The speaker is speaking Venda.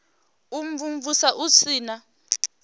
u imvumvusa hu si na